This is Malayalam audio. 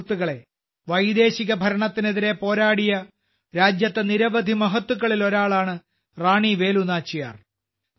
സുഹൃത്തുക്കളെ വൈദേശിക ഭരണത്തിനെതിരെ പോരാടിയ രാജ്യത്തെ നിരവധി മഹത്തുക്കളിൽ ഒരാളാണ് റാണി വേലു നാച്ചിയാർ